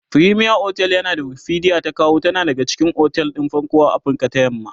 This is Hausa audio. fremier otel a yanda Wikipedia ta kawo tana daga cikin otel ɗin farko a Afrika ta yamma